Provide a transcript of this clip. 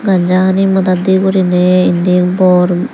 ganja hani madat dey goriney endi bor.